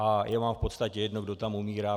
A je vám v podstatě jedno, kdo tam umírá.